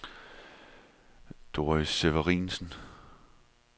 Doris Severinsen